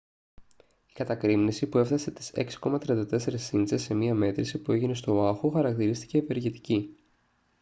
η κατακρήμνιση που έφτασε τις 6,34 ίντσες σε μια μέτρηση που έγινε στο οάχου χαρακτηρίστηκε «ευεργετική»